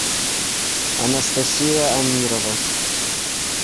анастасия амирова